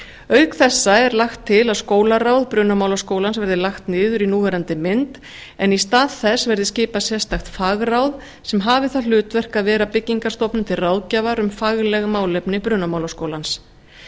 auk þessa er lagt til að skólaráð brunamálaskólans verði lagt niður í núverandi mynd en í stað þess verði skipað sérstakt fagráð sem hafi það hlutverk að vera byggingarstofnun til ráðgjafar um fagleg málefni brunamálaskólans